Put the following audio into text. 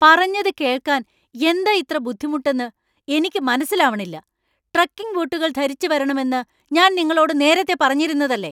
പറഞ്ഞത് കേൾക്കാൻ എന്താ ഇത്ര ബുദ്ധിമുട്ടെന്ന് എനിക്ക് മനസ്സിലാവണില്ല. ട്രെക്കിംഗ് ബൂട്ടുകൾ ധരിച്ച് വരണം എന്ന് ഞാൻ നിങ്ങളോട് നേരത്തെ പറഞ്ഞിരുന്നതല്ലേ ?